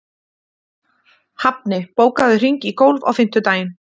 Hafni, bókaðu hring í golf á fimmtudaginn.